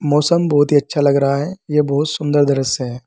मौसम बहोत ही अच्छा लग रहा है यह बहुत सुंदर दृश्य है।